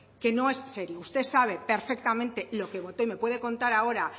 que no es serio usted sabe perfectamente lo que votó y me puede contar ahora